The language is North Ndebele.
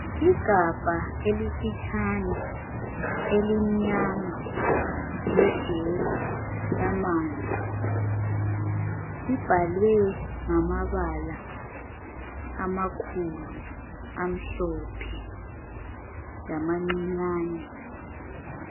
Igabha elifitshane elimnyama lejeli yamanzi, libhalwe ngamabala amakhulu amhlophe lamancinyane.